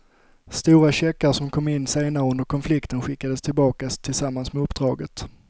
Stora checkar som kom in senare under konflikten skickades tillbaka tillsammans med uppdraget.